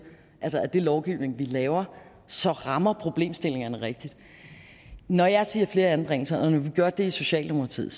at den lovgivning vi laver så rammer problemstillingerne rigtigt når jeg siger flere anbringelser og når vi gør det i socialdemokratiet